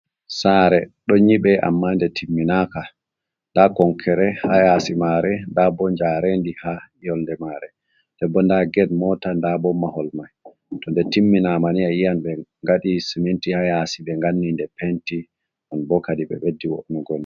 sare don nyibe amma nde timminaka, da konkere hayasi mare, ndabo jarendi ha yondemare, ndebo da ged mota ndabo mahol mai, to nde timminamani ayi an ɓe ngaɗi siminti hayasi ɓe nganni nde penti, on bo kadi ɓe beddiogoi